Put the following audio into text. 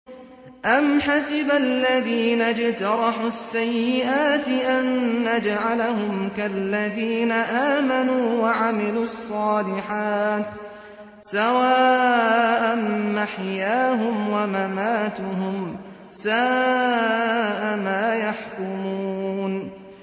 أَمْ حَسِبَ الَّذِينَ اجْتَرَحُوا السَّيِّئَاتِ أَن نَّجْعَلَهُمْ كَالَّذِينَ آمَنُوا وَعَمِلُوا الصَّالِحَاتِ سَوَاءً مَّحْيَاهُمْ وَمَمَاتُهُمْ ۚ سَاءَ مَا يَحْكُمُونَ